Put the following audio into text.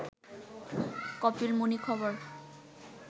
কপিলমুনি খবর